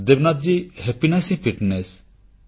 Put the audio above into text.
ଖୁସୀ ହିଁ ଫିଟନେସ